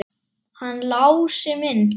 Hann Lási minn!